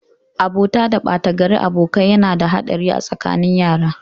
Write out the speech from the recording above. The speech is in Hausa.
Abota da batagarin abokai yana da haɗari a tsakanin yara.